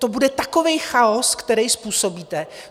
To bude takový chaos, který způsobíte.